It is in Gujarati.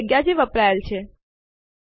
ચાલો આ કરવા માટે આરએમ આદેશ નો પ્રયાસ કરીએ